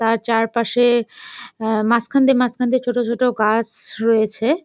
তার চারপাশে আহ মাঝখান দিয়ে মাঝখান দিয়ে ছোট ছোট গাছ স রয়েছে।